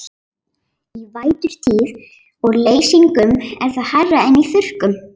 Í vætutíð og leysingum er það hærra en í þurrkum.